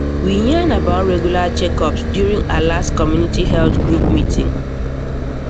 we yarn about regular checkups during our last community health group meeting